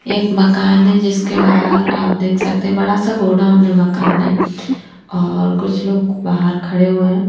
एक मकान है जिसके बाहर आप देख सकते है बड़ा सा गोडाउन है मकान नही और कुछ लोग बाहर खड़े है।